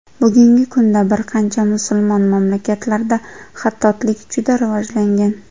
Bugungi kunda bir qancha musulmon mamlakatlarda xattotlik juda rivojlangan.